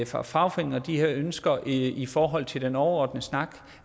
fra fagforeninger og de her ønsker i i forhold til den overordnede snak